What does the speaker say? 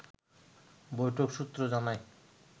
বৈঠক সূত্র জানায়